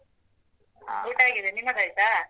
ಆಗಿದೆ ನಿಮ್ಮದಾಯ್ತಾ?